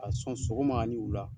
A sɔn sogoma ani wula.